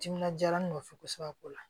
Timinadiya ne fɛ kosɛbɛ o la